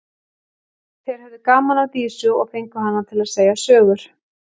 Þeir höfðu gaman af Dísu og fengu hana til að segja sögur.